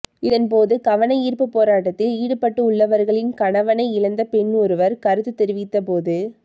இதன் போது கவனயீர்ப்பு போராட்டத்தில் ஈடுப்பட்டுள்ளவர்களின் கணவனை இழந்த பெண் ஒருவர் கருத்து தெரிவித்த போது